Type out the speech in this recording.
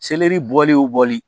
Seleri bɔli ye o bɔli